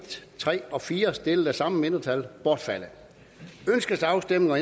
tre og fire stillet af det samme mindretal bortfaldet ønskes afstemning